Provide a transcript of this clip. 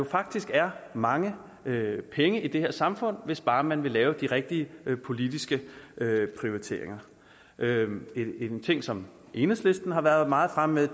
faktisk er mange penge i det her samfund hvis bare man vil lave de rigtige politiske prioriteringer en ting som enhedslisten har været meget fremme med at